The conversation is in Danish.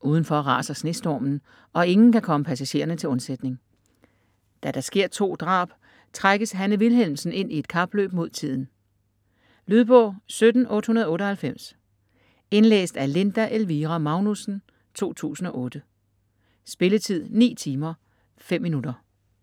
Uden for raser snestormen, og ingen kan komme passagererne til undsætning. Da der sker to drab, trækkes Hanne Wilhelmsen ind i et kapløb mod tiden. Lydbog 17898 Indlæst af Linda Elvira Magnussen, 2008. Spilletid: 9 timer, 5 minutter.